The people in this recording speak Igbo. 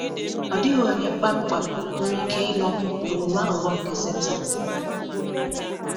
Ọ dịghị onye kpamkpam nwere ike ịnọpụ na “omume aghụghọ” nke Setan.